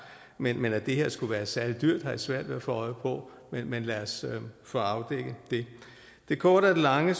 men at det her skulle være særlig dyrt har jeg svært ved at få øje på men lad os få afdækket det det korte af det lange